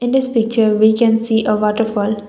in this picture we can see a waterfall.